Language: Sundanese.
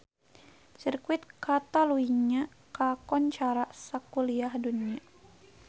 Sirkuit Katalunya kakoncara sakuliah dunya